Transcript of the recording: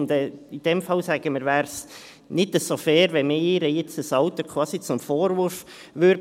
In diesem Fall sagen wir, es wäre nicht so fair, wenn man ihr das Alter quasi zum Vorwurf machen würde.